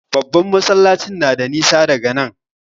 Babban masallacin na da nisa daga nan.